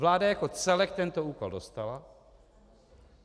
Vláda jako celek tento úkol dostala.